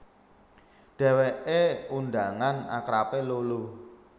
Dhèwèké undangan akrabé Lolo